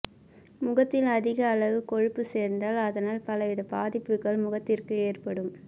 முகத்தில் அதிக அளவு கொழுப்பு சேர்ந்தால் அதனால் பலவித பாதிப்புகள் முகத்திற்கு ஏற்படும்